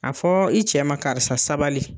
A fɔɔ i cɛ ma karisa sabali